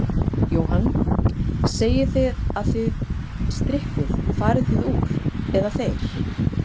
Jóhann: Þið segið að þið strippið, farið þið úr, eða þeir?